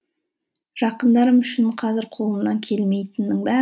жақындарым үшін қазір қолымнан келмейтіннің